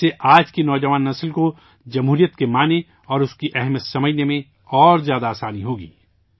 اس سے آج کی نوجوان نسل کو جمہوریت کے معنی اور اس کی اہمیت سمجھنے میں اور زیادہ آسانی ہوگی